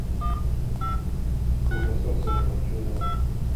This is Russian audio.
колбаса сырокопченая